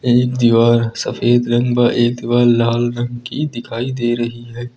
एक दीवार सफेद रंग बा एक दीवार लाल रंग की दिखाई दे रही है।